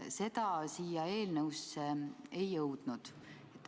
See ettepanek siia eelnõusse ei jõudnud.